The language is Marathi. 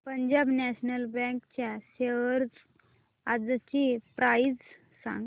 पंजाब नॅशनल बँक च्या शेअर्स आजची प्राइस सांगा